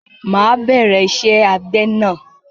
Máà bẹ̀rẹ̀ ìṣe àgbẹ̀na